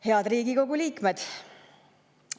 Head Riigikogu liikmed!